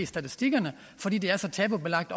statistikkerne fordi det er så tabubelagt